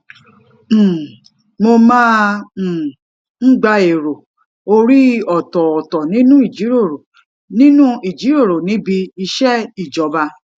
um mo máa um ń gba èrò orí ọtọọtọ nínú ìjíròrò nínú ìjíròrò níbi iṣẹ ìjọba